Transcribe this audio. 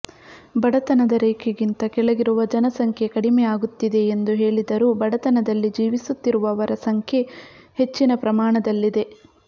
ಬಡತನದ ರೇಖೆಗಿಂತ ಕೆಳಗಿರುವ ಜನಸಂಖ್ಯೆ ಕಡಿಮೆ ಆಗುತ್ತಿದೆ ಎಂದು ಹೇಳಿದರೂ ಬಡತನದಲ್ಲಿ ಜೀವಿಸುತ್ತಿರುವವರ ಸಂಖ್ಯೆ ಹೆಚ್ಚಿನ ಪ್ರಮಾಣದಲ್ಲಿದೆ